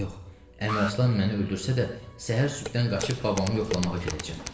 Yox, Əmraslan məni öldürsə də, səhər sübhdən qaçıb babamı yoxlamağa gedəcəm.